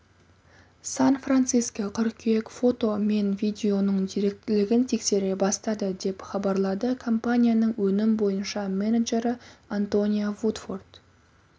сан-франциско қыркүйек фото мен видеоның деректілігін тексере бастады деп хабарлады компанияның өнім бойынша менеджері антония вудфорд